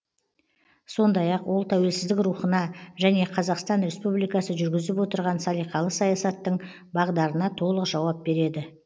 сондай ақ ол тәуелсіздік рухына және қазақстан республикасы жүргізіп отырған салиқалы саясаттың бағдарына толық жауап береді